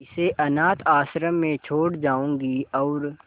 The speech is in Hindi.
इसे अनाथ आश्रम में छोड़ जाऊंगी और